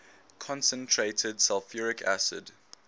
concentrated sulfuric acid